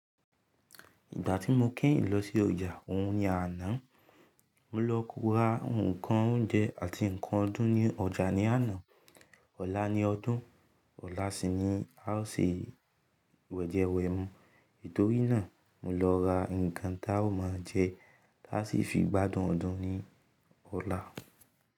Ìgbà tí mo keyin lọ sí ọjà ohun ni àná, mo lọ ra àwon ǹkan oúnjẹ àti ǹkan ọdún ní ọjà ní àná. Ọ̀la ni ọdún, ọ̀la sì ni a ó ṣe wẹ̀jẹwẹ̀mu. Itòrí náà, mo lọ ra ǹkan táa ó ma jẹ táa sì fi gbádùn ọdún ní ọ̀la.